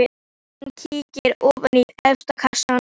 Hann kíkir ofan í efsta kassann.